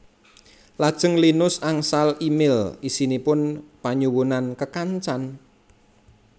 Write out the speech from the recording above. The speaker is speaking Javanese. Lajeng Linus angsal e mail isinipun panyuwunan kekencan